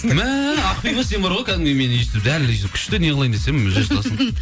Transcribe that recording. мә ақбибі сен бар ғой кәдімгідей мені өйстіп дәл өзі күшті неғылайын десем